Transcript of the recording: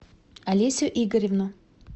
олесю игоревну